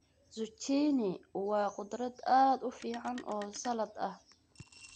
Zucchini waa khudrad aad u fiican oo salad ah.